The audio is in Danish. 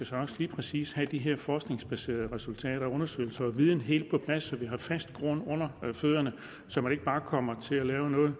så også lige præcis skal have de her forskningsbaserede resultater og undersøgelser viden helt på plads så vi har fast grund under fødderne så vi ikke bare kommer til at lave et